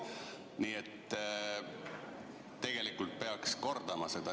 Nii et tegelikult peaks seda asja kordama.